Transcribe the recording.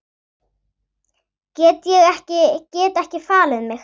Get ekki falið mig.